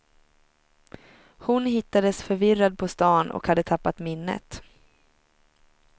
Hon hittades förvirrad på stan och hade tappat minnet.